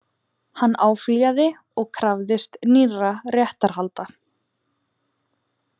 Hann áfrýjaði og krafðist nýrra réttarhalda